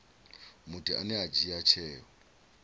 muthu ane a dzhia tsheo